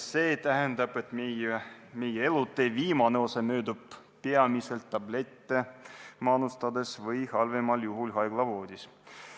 See tähendab, et meie elutee viimane osa möödub peamiselt tablette manustades või halvemal juhul haiglavoodis.